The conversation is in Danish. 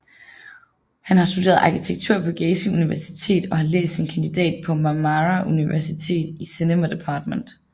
Han har studeret arkitektur på Gazi Universitetet og har læst sin kandidat på Marmara Universitetet i Cinema department